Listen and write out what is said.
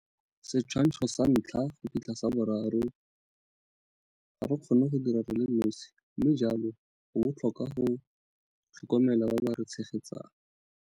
Setshwantsho sa 1 - 3 - Ga re kgone go dira re le nosi mme jalo go botlhokwa go tlhokomela ba ba re tshegetsang.